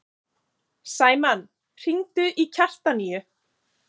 Sæmann, hringdu í Kjartaníu.